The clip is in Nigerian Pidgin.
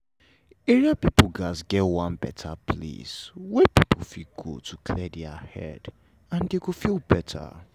area people gats get one better place wey people fit go to clear their head and dem go feel better